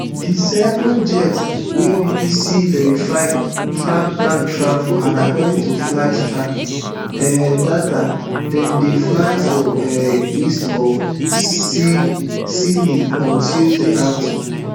di seven jets wey bbc verify track don travel and according to flight tracking um data dem dey fly for um east of sicily on tuesday afternoon